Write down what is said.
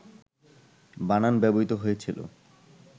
বানান ব্যবহৃত হয়েছিল,